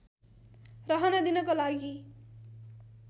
रहन दिनको लागि